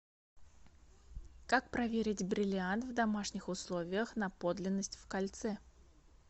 как проверить бриллиант в домашних условиях на подлинность в кольце